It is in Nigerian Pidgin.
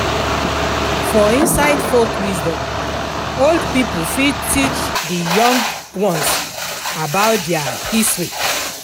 For inside folk wisdom, old pipo fit teach di young ones about their history